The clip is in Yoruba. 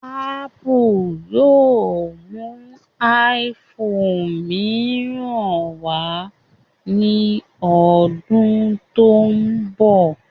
Ápù yóò mú iphone mìíràn wá ní ọdún tó ń bọ̀